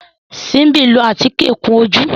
Simbi ló atike kún ojú